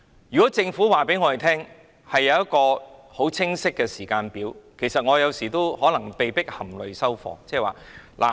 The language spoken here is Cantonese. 如果政府告訴我們一個清晰的時間，我們也有時會被迫含淚收貨。